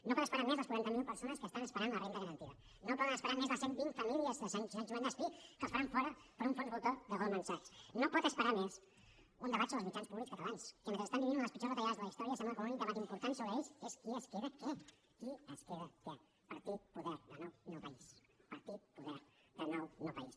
no poden esperar més les quaranta mil persones que estan esperant la renda garantida no poden esperar més les cent vint famílies de sant joan despí que les faran fora per un fons voltor de goldman sachs no pot esperar més un debat sobre els mitjans públics catalans que mentre estan vivint una de les pitjors retallades de la història sembla que l’únic debat important sobre ells és qui es queda què qui es queda què partit poder de nou no país partit poder de nou no país